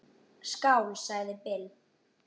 Skál, sagði Bill.